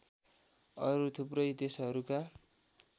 अरू थुप्रै देशहरूका